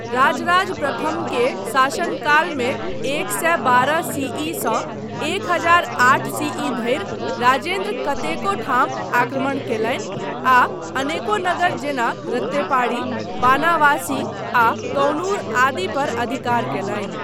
राजराज प्रथम के शासनकालमे एक सए बारह सी. इ.सँ एक हजार आठ सी.इ. धरि राजेन्द्र कतेको ठाम आक्रमण कयलनि आ अनेको नगर जेना रत्तेपाड़ी, बानावासी आ तौनूर आदि पर अधिकार कयलनि।